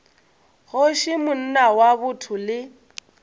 kgoši monna wa botho le